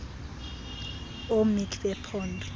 oo mec bephondo